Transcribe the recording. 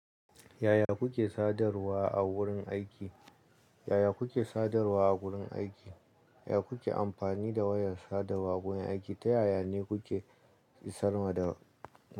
Yaya kuke sadarwa a wurin aiki? Yaya kuke sadarwa a wurin aiki? Ya kuke amfani da wayar sadarwa a wurin aiki? Ta yaya ne kuke isarwa da.